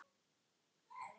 Varla getur hann doblað.